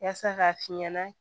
Yaasa k'a fi ɲɛna